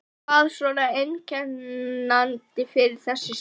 Hvað svona er einkennandi fyrir þessi skjöl?